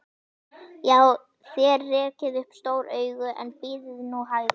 Já, þér rekið upp stór augu, en bíðið nú hægur.